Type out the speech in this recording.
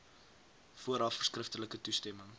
vooraf skriftelik toestemming